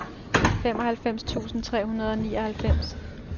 halvfems tusind tre hundrede og nioghalvfems